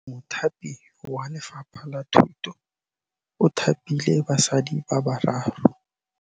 Mothapi wa Lefapha la Thutô o thapile basadi ba ba raro.